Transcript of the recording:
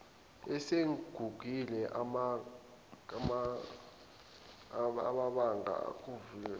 asegugile abanga ukuguga